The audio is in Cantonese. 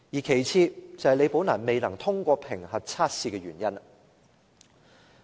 其次，便是李寶蘭未能通過評核測試的原因。